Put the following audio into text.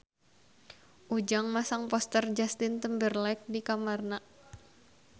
Ujang masang poster Justin Timberlake di kamarna